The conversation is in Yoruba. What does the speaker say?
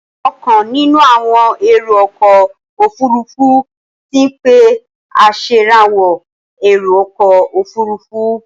Ọ̀kan nínú àwọn èrò ọkọ̀ òfurufú ti ń pé aṣèrànwọ́ èrò ọkọ̀ òfurufú.